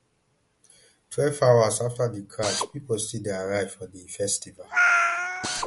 twelve hours afta di crush pipo still dey arrive for di festival